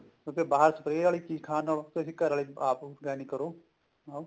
ਕਿਉਂਕਿ ਬਾਹਰ spray ਆਲੀ ਚੀਜ਼ ਖਾਣ ਨਾਲੋਂ ਆਪਣੇ ਘਰ ਆਲੀ ਆਪ organic ਕਰੋ ਨਾਲ